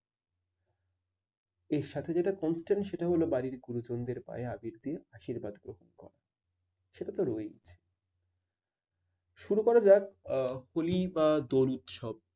এর সাথে যেটা constant সেটা হলো বাড়ির গুরুজনদের পায়ে আবির দিয়ে আশীর্বাদ গ্রহণ করা সেটা তো রয়েছে শুরু করা যাক আহ হলি বা দোল উৎসব।